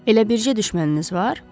Elə bircə düşməniniz var?